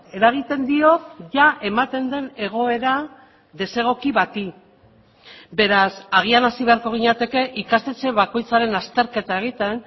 eragiten dio jada ematen den egoera desegoki bati beraz agian hasi beharko ginateke ikastetxe bakoitzaren azterketa egiten